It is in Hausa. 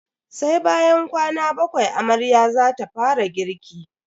Sai bayan kwana bakwai amarya zata fara girki.